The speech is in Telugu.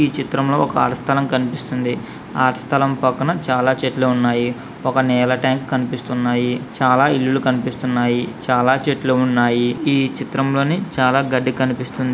ఈ చిత్రంలో కాలి స్థలం కనిపిస్తుంది. కాలి స్థలం పక్కన చాలా చెట్లు ఉన్నాయి. ఒక నీళ్ల ట్యాంకు కనిపిస్తున్నాయి. చాలా ఇల్లులు కనిపిస్తున్నాయి. చాలా చెట్లు ఉన్నాయి. ఈ చిత్రంలోని చాలా గడ్డి కనిపిస్తుంది.